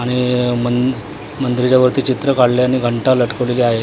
आणि मन मंदिराच्या वरती चित्र काढलंय आणि घंटा लटकवलेली आहे.